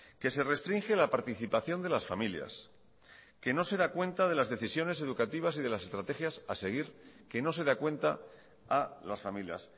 que se restringe la participación de las familias que no se da cuenta de las decisiones educativas y de las estrategias a seguir que no se da cuenta a las familias